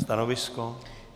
Stanovisko?